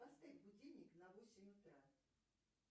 поставь будильник на восемь утра